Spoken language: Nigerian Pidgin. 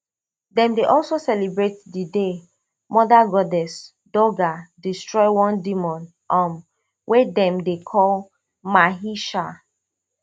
dem dey also celebrate di day mother goddess durga destroy one demon um wey dem dey call mahisha